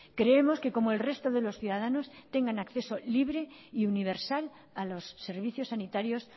creemos que como el resto de los ciudadanos tengan acceso libre y universal a los servicios sanitarios